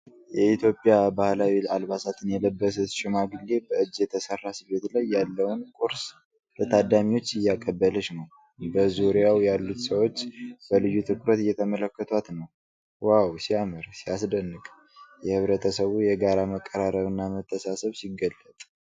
የኢትዮጵያ ባህላዊ አልባሳትን የለበሰች ሽማግሌ በእጅ የተሰራ ስፌት ላይ ያለውን ቁርስ ለታዳሚዎቹ እያቀበለች ነው። በዙሪያው ያሉት ሰዎች በልዩ ትኩረት እየተመለከቷት ነው። ዋው! ሲያምር፣ ሲያስደንቅ! የህብረተሰቡ የጋራ መቀራረብና መተሳሰብ ሲገለጥ !።